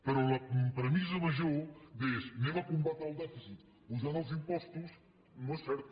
però la premissa major que és combatrem el dèficit apujant els impostos no és certa